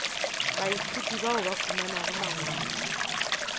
baithuti bao ba humanago mangwalo